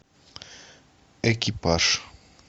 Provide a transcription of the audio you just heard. экипаж